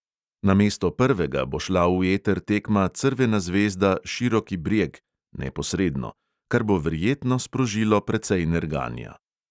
Namesto prvega bo šla v eter tekma crvena zvezda – široki brjeg kar bo verjetno sprožilo precej nerganja.